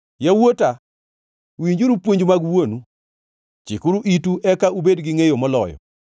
Yawuota, winjuru puonj mag wuonu; chikuru itu eka ubed gi ngʼeyo moloyo.